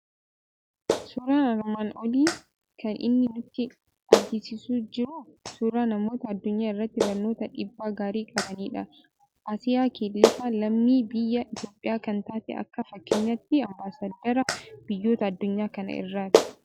Suuraan armaan olii kan inni nutti argisiisaa jiru suuraa namoota addunyaa irratti barnootaan dhiibbaa gaarii qabanidha. Asiyyaa Keelifaa lammii biyya Itoophiyaa kan taate akka fakkeenyaatti Ambaasaddara boyyoota addunyaa kana irraati.